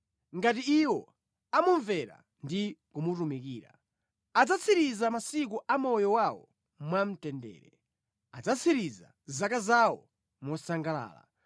Ngati iwo amumvera ndi kumutumikira, adzatsiriza masiku a moyo wawo mwamtendere, adzatsiriza zaka zawo mosangalala.